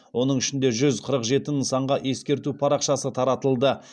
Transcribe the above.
оның ішінде жүз қырық жеті нысанға ескерту парақшасы таратылды